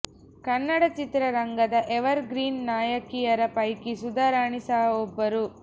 ಕನ್ನಡ ಚಿತ್ರರಂಗದ evergreen ನಾಯಕಿರ ಪೈಕಿ ಸುಧಾರಾಣಿ ಸಹ ಒಬ್ಬರು